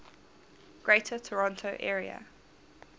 greater toronto area